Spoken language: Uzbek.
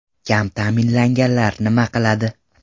Kam ta’minlanganlar nima qiladi?